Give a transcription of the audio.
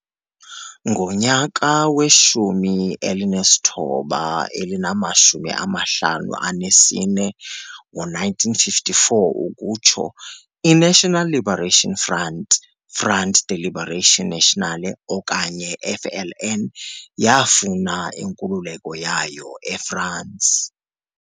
Ngo-1954, I-National Liberation Front Front de Libération Nationale or FLN yaafuna inkululeko yayo e-France.